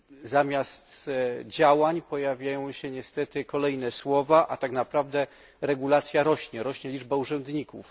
Zamiast działań pojawiają się niestety kolejne słowa, a tak naprawdę regulacja rośnie, rośnie liczba urzędników.